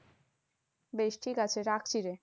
বেশ ঠিকাছে রাখছি রে।